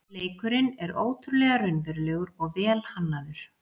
Leikurinn er ótrúlega raunverulegur og vel hannaður